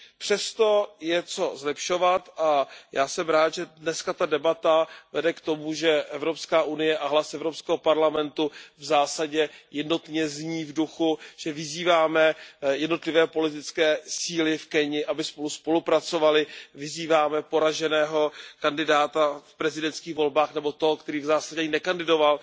Přesto je co zlepšovat a já jsem rád, že dnes ta debata vede k tomu, že EU a hlas EP v zásadě jednotně zní v duchu, že vyzýváme jednotlivé politické síly v Keni, aby spolu spolupracovaly, vyzýváme poraženého kandidáta v prezidentských volbách nebo toho, který v zásadě ani nekandidoval